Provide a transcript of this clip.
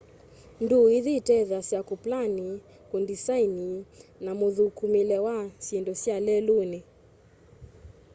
ndûû ithi itetheeasya kûplani kundisaini na mûthûkûmîle wa syindu sya leluni